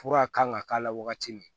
Fura kan ka k'a la wagati min